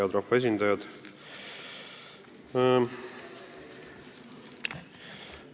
Head rahvaesindajad!